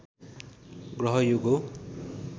ग्रहयोग हो